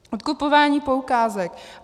Odkupování poukázek.